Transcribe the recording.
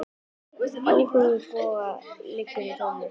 Áhugi Boga liggur í tónlist.